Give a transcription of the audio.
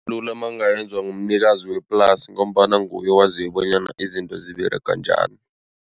mangayenzwa ngumnikazi weplasi ngombana nguye wazi bonyana izinto ziberega njani.